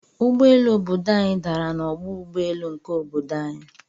Ụgbọ elu obodo anyi dàrà na ọgbọ ụgbọelu nke obodo anyi.